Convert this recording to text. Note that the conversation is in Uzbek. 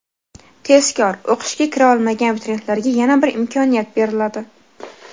Tezkor: O‘qishga kira olmagan abituriyentlarga yana bir imkoniyat beriladi.